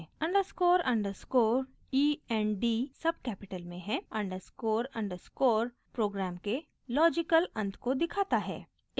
underscore underscore e n d सब capital में हैं अंडरस्कोर अंडरस्कोर प्रोग्राम के लॉजिकल अंत को दिखाता है